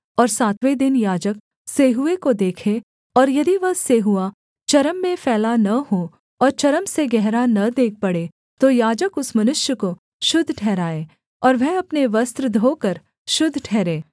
और सातवें दिन याजक सेंहुएँ को देखे और यदि वह सेंहुआ चर्म में फैला न हो और चर्म से गहरा न देख पड़े तो याजक उस मनुष्य को शुद्ध ठहराए और वह अपने वस्त्र धोकर शुद्ध ठहरे